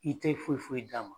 I tɛ foyi foyi d'a ma.